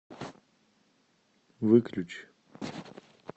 выключи